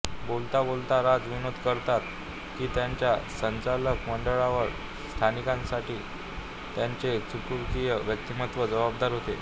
बोलता बोलता राज विनोद करतात की त्यांच्या संचालक मंडळावर स्थानासाठी त्यांचे चुंबकीय व्यक्तिमत्व जबाबदार होते